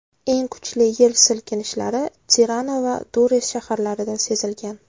Eng kuchli yer silkinishlari Tirana va Durres shaharlarida sezilgan.